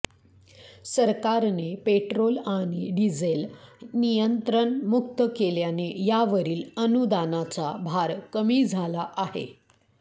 सरकारने पेट्रोल आणि डिझेल नियंत्रणमुक्त केल्याने यावरील अनुदानाचा भार कमी झाला आहे